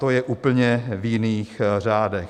To je v úplně jiných řádech.